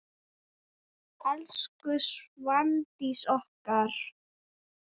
Elsku Svandís okkar.